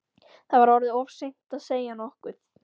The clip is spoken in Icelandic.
Það var orðið of seint að segja nokkuð.